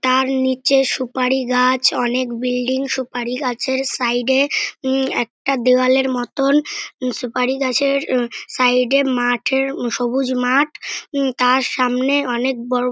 তার নিচে সুপারি গাছ অনেক বিল্ডিং । সুপারি গাছের সাইড এ উম একটা দেওয়ালের মতন সুপারি গাছের সাইড এ মাঠ এর সবুজ মাঠ তার সামনে অনেক বড়।